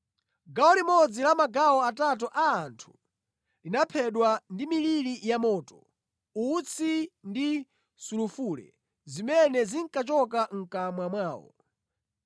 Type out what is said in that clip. Gawo limodzi la magawo atatu a anthu linaphedwa ndi miliri yamoto, utsi ndi sulufule zimene zinkachoka mʼkamwa mwawo.